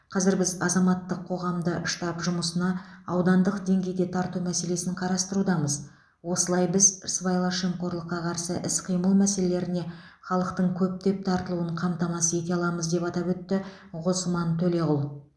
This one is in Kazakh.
қазір біз азаматтық қоғамды штаб жұмысына аудандық деңгейде тарту мәселесін қарастырудамыз осылай біз сыбайлас жемқорлыққа қарсы іс қимыл мәселелеріне халықтың көптеп тартылуын қамтамасыз ете аламыз деп атап өтті ғосман төлеғұл